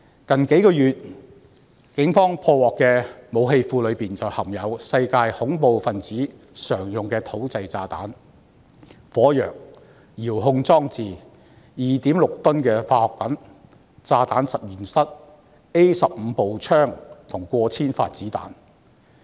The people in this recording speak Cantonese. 警方在最近數月破獲的武器庫內，便含有世界恐怖分子常用的土製炸彈、火藥、遙控裝置、2.6 噸的化學品、炸彈實驗室、A15 步槍及過千發子彈。